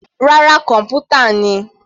Rárá, kọ̀npútà ni.